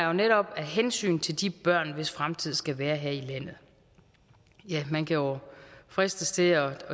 jo netop af hensyn til de børn hvis fremtid skal være her i landet ja man kan jo fristes til at